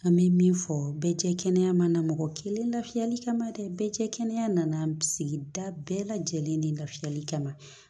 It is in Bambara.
An bɛ min fɔ bɛɛ cɛ kɛnɛya mana mɔgɔ kelen lafiyali kama dɛ bɛɛ cɛ kɛnɛya nana sigi da bɛɛ lajɛlen ni lafiyali kama